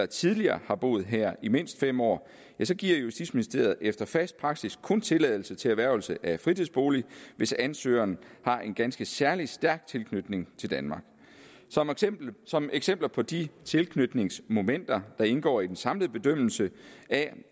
tidligere har boet her i mindst fem år giver justitsministeriet efter fast praksis kun tilladelse til erhvervelse af en fritidsbolig hvis ansøgeren har en ganske særlig stærk tilknytning til danmark som eksempler på de tilknytningsmomenter der indgår i en samlet bedømmelse af